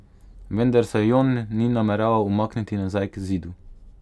Vendar se Jon ni nameraval umakniti nazaj k Zidu.